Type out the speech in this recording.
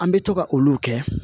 An bɛ to ka olu kɛ